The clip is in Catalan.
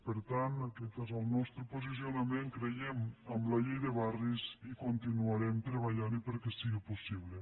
per tant aquest és el nostre posicionament creiem en la llei de barris i continuarem treballant·hi perquè si·gui possible